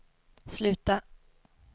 sluta